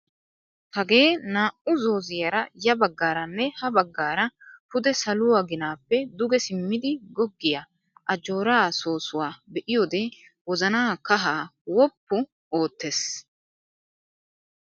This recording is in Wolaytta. Hagee naa"u zoozziyaara ya baggaaranne ha baggaara pude saluwaa ginaappe duge simmidi goggiyaa ajjooraa soossuwaa be'iyoode wozanaa kahaa woppu oottes.